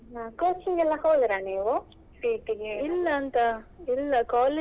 ಹಾ coaching ಎಲ್ಲಾ ಹೋದ್ರ ನೀವು CET ಗೆ?